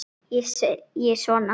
Ég segi svona.